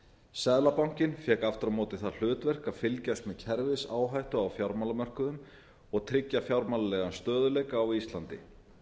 seðlabankinn fékk aftur á móti það hlutverk að fylgjast með kerfisáhættu á fjármálamörkuðum og tryggja fjármálalegan stöðugleika á íslandi